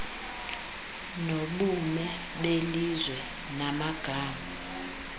nobume belizwe namagama